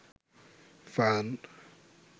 fun